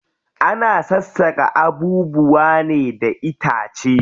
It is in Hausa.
Ana sassaka abubuwa ne da itace.